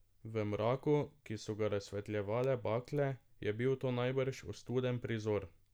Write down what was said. V mraku, ki so ga razsvetljevale bakle, je bil to najbrž ostuden prizor.